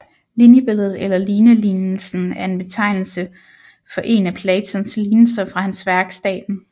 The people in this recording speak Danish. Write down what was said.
Linjebilledet eller lignelignelsen er en betegnelse for en af Platons lignelser fra hans værk Staten